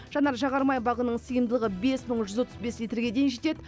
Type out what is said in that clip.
жанар жағар май багының сыйымдылығы бес мың жүз отыз бес литрге дейін жетеді